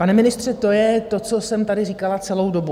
Pane ministře, to je to, co jsem tady říkala celou dobu.